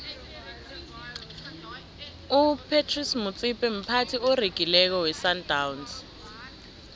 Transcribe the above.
upratice motsipe mphathi oregileko wesandawnsi